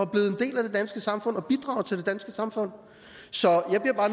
blevet en del af det danske samfund og bidrager til det danske samfund så